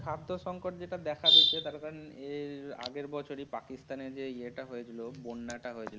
খাদ্য সংকট যেটা দেখা দিচ্ছে তার কারণ এর আগের বছরেই পাকিস্তান এ যে ইয়ে তা হয়েছিল, বন্যাটা হয়েছিল।